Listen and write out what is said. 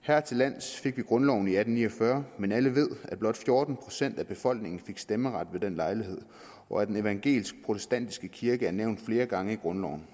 hertillands fik vi grundloven i atten ni og fyrre men alle ved at blot fjorten procent af befolkningen fik stemmeret ved den lejlighed og at den evangelisk protestantiske kirke er nævnt flere gange i grundloven